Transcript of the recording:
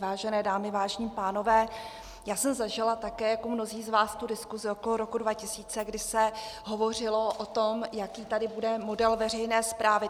Vážené dámy, vážení pánové, já jsem zažila také jako mnozí z vás tu diskusi okolo roku 2000, kdy se hovořilo o tom, jaký tady bude model veřejné správy.